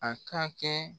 A ka kɛ